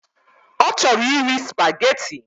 Ọ chọrọ iri spaghetti